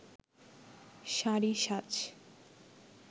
শাড়ি সাজ